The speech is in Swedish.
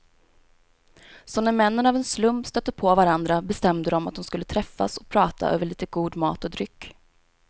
Så när männen av en slump stötte på varandra bestämde de att de skulle träffas och prata över lite god mat och dryck.